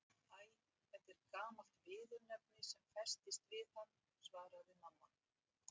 Æ, þetta er gamalt viðurnefni sem festist við hann svaraði mamma.